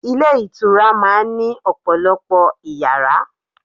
Ilé ìtura máa ń ní ọ̀pọ̀lọpọ̀ Ìyàrá.